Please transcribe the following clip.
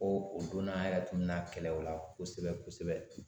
Ko o donna an yɛrɛ tun bɛna kɛlɛ o la kosɛbɛ kosɛbɛ